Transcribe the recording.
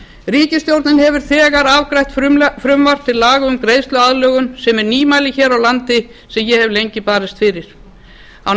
ríkisstjórnin hefur þegar afgreitt frumvarp til laga um greiðsluaðlögun sem er nýmæli hér á landi sem ég hef lengi barist fyrir á